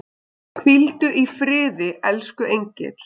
Hvíldu í friði, elsku engill.